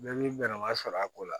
Mɛ min bɛ masɔrɔ a ko la